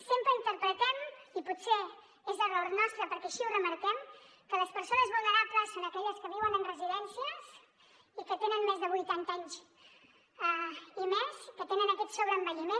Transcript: sempre interpretem i potser és error nostre perquè així ho remarquem que les persones vulnerables són aquelles que viuen en residències i que tenen més de vuitanta anys que tenen aquests sobreenvelliment